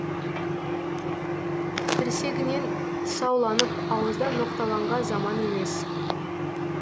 тірсегінен тұсауланып ауызда ноқталанға заман емес